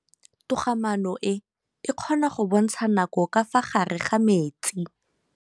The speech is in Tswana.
Toga-maanô e, e kgona go bontsha nakô ka fa gare ga metsi.